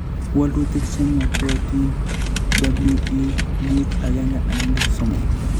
walutik che ng'atootin:WE5113